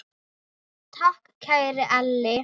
Takk, kæri Elli.